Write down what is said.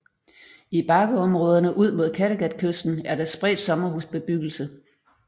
I bakkeområderne ud mod Kattegatkysten er der spredt sommmerhusbebyggelse